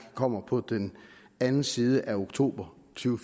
kommer på den anden side af oktober